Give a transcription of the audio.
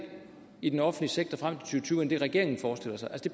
i den offentlige sektor frem til to end det regeringen forestiller sig det